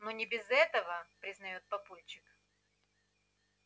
ну не без этого признает папульчик